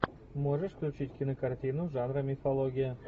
можешь включить кинокартину жанра мифология